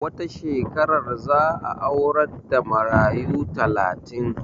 Wata shekarar za a aurar da marayu takatin